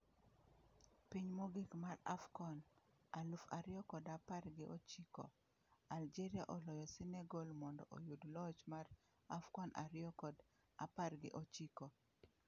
Piny Mogik mar Afcon aluf ariyo kod apar gi ochiko: Algeria oloyo Senegal mondo oyud loch mar Afcon ariyo kod apar gi ochiko